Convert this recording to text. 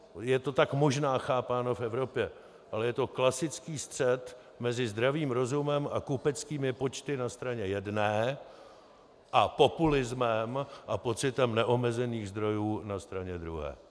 Je to tak možná chápáno v Evropě, ale je to klasický střet mezi zdravým rozumem a kupeckými počty na straně jedné a populismem a pocitem neomezených zdrojů na straně druhé.